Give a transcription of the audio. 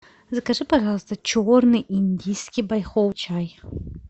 закажи пожалуйста черный индийский байховый чай